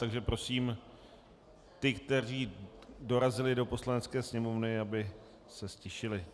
Takže prosím ty, kteří dorazili do Poslanecké sněmovny, aby se ztišili.